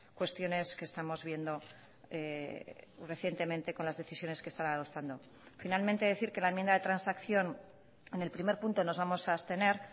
cuestiones que estamos viendo recientemente con las decisiones que están adoptando finalmente decir que la enmienda de transacción en el primer punto nos vamos a abstener